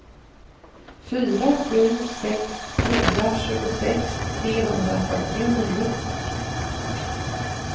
fyra sju sex fyra tjugosex trehundrafyrtionio